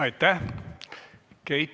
Aitäh!